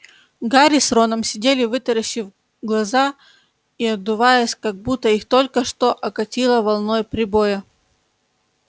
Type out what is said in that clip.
гарри с роном сидели вытаращив глаза и отдуваясь как будто их только что окатило волной прибоя